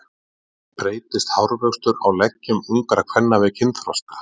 Breytist hárvöxtur á leggjum ungra kvenna við kynþroska?